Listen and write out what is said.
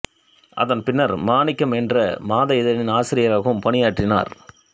அதன் பின்னர் மாணிக்கம் என்ற மாத இதழின் ஆசிரியராகவும் பணியாற்றினார்